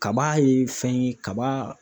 Kaba ye fɛn ye kaba.